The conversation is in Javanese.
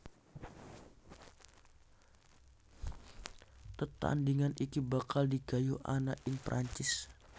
Tetandhingan iki bakal digayuh ana ing Prancis